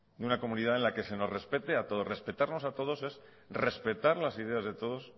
de una comunidad en la que se nos respete a todos respetarnos a todos es respetar las ideas de todos